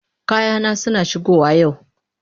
Kayana suna shigowa yau.